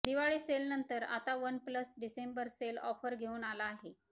दिवाळी सेलनंतर आता OnePlus December sale offer घेऊन आला आहे